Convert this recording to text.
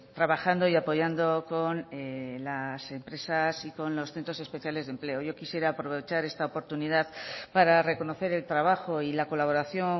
trabajando y apoyando con las empresas y con los centros especiales de empleo yo quisiera aprovechar esta oportunidad para reconocer el trabajo y la colaboración